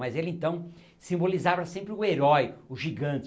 Mas ele, então, simbolizava sempre o herói, o gigante.